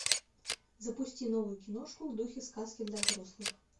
запусти новую киношку в духе сказки для взрослых